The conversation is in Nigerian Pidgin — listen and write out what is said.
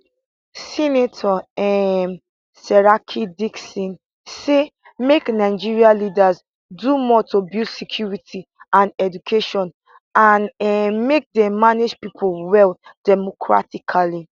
senator um seriake dickson say make nigeria leaders do more to build security and education and um make dem manage pipo well democratically